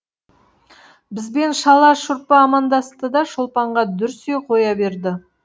бізбен шала шұрпы амандасты да шолпанға дүрсе қоя берді